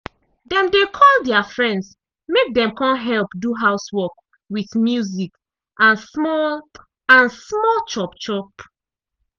dem dey call dia friends mek dem come help do housework with music and small and small chop-chop.